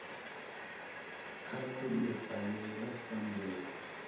kha vha ṋekane nga sambulu